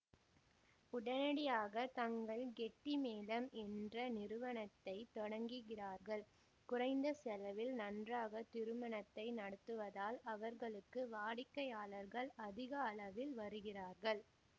உடனடியாக தங்கள் கெட்டி மேளம் என்ற நிறுவனத்தை தொடங்குகிறார்கள் குறைந்த செலவில் நன்றாக திருமணத்தை நடத்துவதால் அவர்களுக்கு வாடிக்கையாளர்கள் அதிக அளவில் வருகிறார்கள்